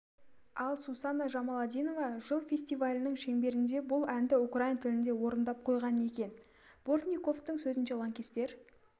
ал сусана жамаладинова жылы фестивалінің шеңберінде бұл әнді украин тілінде орындап қойған екен бортниковтың сөзінше лаңкестер